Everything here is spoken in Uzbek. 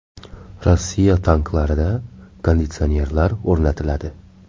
Rossiya tanklarida konditsionerlar o‘rnatiladi.